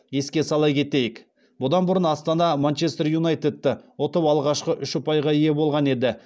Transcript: еске сала кетейік бұдан бұрын астана манчестер юнайтедті ұтып алғашқы үш ұпайға ие болған еді